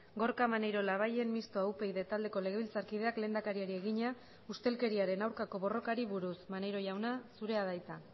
gorka maneiro labayen mistoa upyd taldeko legebiltzarkideak lehendakariari egina ustelkeriaren aurkako borrokari buruz maneiro jauna zurea da hitza